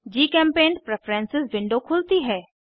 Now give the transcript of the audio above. जीचेम्पेंट preferences window खुलती है